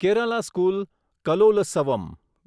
Kerala school Kalolsavam